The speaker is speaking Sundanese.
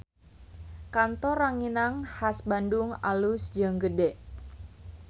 Kantor Ranginang Khas Bandung alus jeung gede